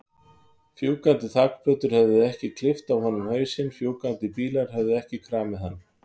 Fljúgandi þakplötur höfðu ekki klippt af honum hausinn, fjúkandi bílar höfðu ekki kramið hann.